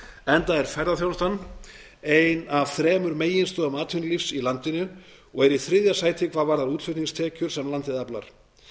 enda er ferðaþjónusta ein af þremur meginstoðum atvinnulífs í landinu og hún er í þriðja sæti hvað varðar útflutningstekjur sem landið aflar